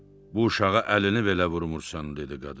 Bu uşağa əlini belə vurmursan, dedi qadın.